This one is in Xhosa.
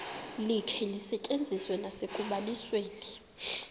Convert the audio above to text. likhe lisetyenziswe nasekubalisweni